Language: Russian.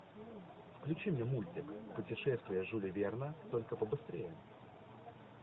включи мне мультик путешествия жюля верна только побыстрее